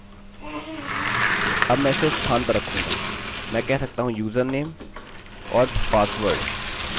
अब मैं इसे स्थान पर रखूँगा मैं कह सकता हूँ यूजरनेम और पासवर्ड